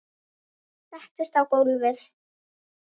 Össur settist á gólfið